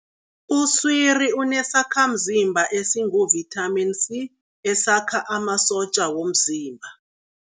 Uswiri unesakhamzimba esinguvithamini C, esakha amasotja womzimba.